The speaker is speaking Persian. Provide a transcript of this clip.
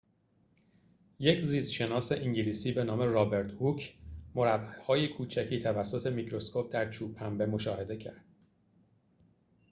یک زیست شناس انگلیسی به نام رابرت هوک مربع‌های کوچکی توسط میکروسکوپ در چوب پنبه مشاهده کرد